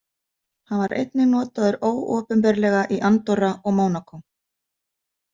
Hann var einnig notaður óopinberlega í Andorra og Mónakó.